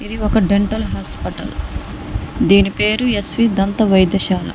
ఇది ఒక dental hospital దీని పేరు ఎస్ వి దంత వైద్యశాల.